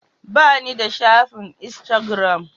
Ba ni da shafin insagiram.